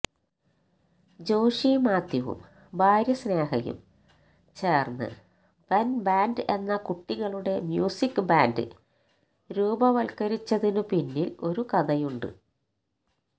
ജോഷി മാത്യുവും ഭാര്യ സ്നേഹയും ചേര്ന്ന് ബെന് ബാന്ഡ് എന്ന കുട്ടികളുടെ മ്യൂസിക്ക് ബാന്ഡ് രൂപവത്കരിച്ചതിനു പിന്നില് ഒരു കഥയുണ്ട്